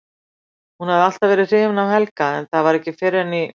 Hún hafði alltaf verið hrifin af Helga en það var ekki fyrr en í